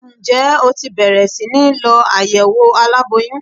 Ǹjẹ́ o ti bẹ̀rẹ̀ síní lọ àyẹ̀wò aláboyún?